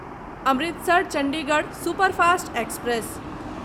Amritsar Chandigarh superfast express